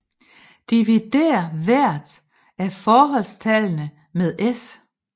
Divider hver af forholdstallne med S